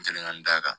N kɛlen ka n d'a kan